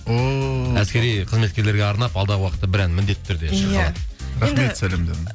о әскери қызметкерлерге арнап алдағы уақытта бір ән міндетті түрде шырқалады рахмет сәлемдеріне